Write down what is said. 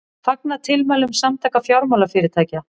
Fagna tilmælum Samtaka fjármálafyrirtækja